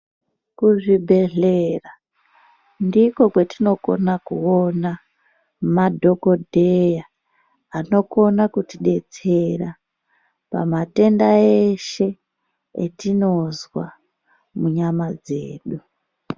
Kuzvibhedhera ndiko kwatinokone kuona madhokodheya qnokona kutidetsera pamatenda eshe etinozwa munyama dzedu.